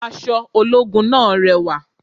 Aṣọ ológun náà rẹwà